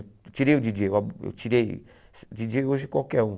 Eu tirei o díi djêi, eu tirei díi djêi hoje qualquer um.